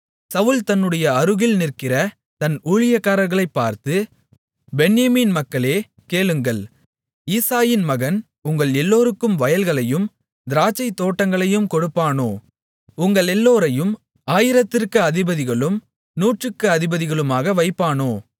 சவுல் தன்னுடைய அருகில் நிற்கிற தன் ஊழியக்காரர்களைப் பார்த்து பென்யமீன் மக்களே கேளுங்கள் ஈசாயின் மகன் உங்கள் எல்லோருக்கும் வயல்களையும் திராட்சைத்தோட்டங்களையும் கொடுப்பானோ உங்களெல்லோரையும் ஆயிரத்திற்கு அதிபதிகளும் நூற்றுக்கு அதிபதிகளுமாக வைப்பானோ